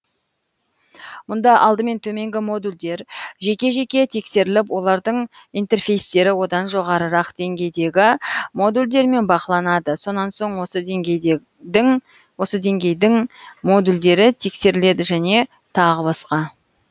мұнда алдымен төменгі модульдер жеке жеке тексеріліп олардың интерфейстері одан жоғарырақ деңгейдегі модульдермен бақыланады сонан соң осы деңгейдің модульдері тексеріледі және тағы басқа